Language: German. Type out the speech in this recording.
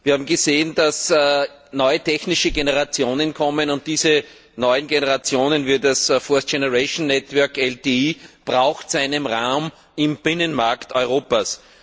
Wir haben gesehen, dass neue technische Generationen kommen, und diese neuen Generationen wie das Fourth Generation Network LTE brauchen einen Raum im Binnenmarkt Europas.